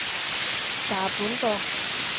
Sara Bundgaard